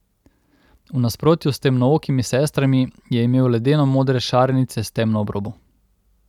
V nasprotju s temnookimi sestrami je imel ledeno modre šarenice s temno obrobo.